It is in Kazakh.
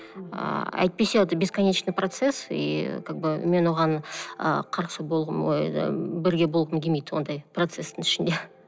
ы әйтпесе это бесконечный процесс и как бы мен оған ы ой ы бірге болғым келмейді ондай процесстің ішінде